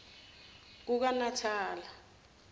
kukanatala